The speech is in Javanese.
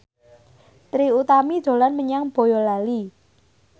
Trie Utami dolan menyang Boyolali